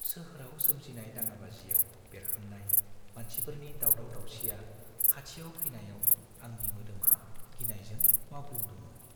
सोहोराव सोमजिनाय दाङाबाजिआव बेरखांनाय मानसिफोरनि दावराव-दावसिआ खाथियाव फैनायाव आंनि मोदामा गिनायजों मावग्लुंदोंमोन।